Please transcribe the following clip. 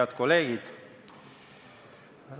Head kolleegid!